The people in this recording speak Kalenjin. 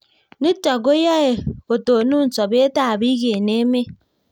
Nitok ko yae kotonon sobet ab piik eng emet